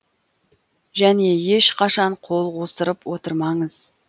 және ешқашан қол қусырып отырмаңыз